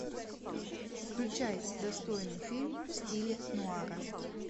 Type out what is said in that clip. включай достойный фильм в стиле нуара